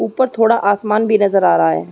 ऊपर थोड़ा आसमान भी नज़र आ रहा है।